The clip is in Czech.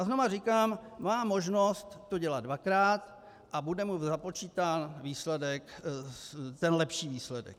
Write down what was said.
A znova říkám, má možnost to dělat dvakrát a bude mu započítán ten lepší výsledek.